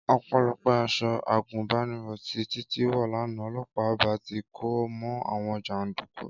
Ọpẹ́lọpẹ́ aṣọ àgùnbánirọ̀ tí Títí wọ̀ lánàá, ọlọ́pàá ì bá ti ko mọ́ àwọn jàndùkú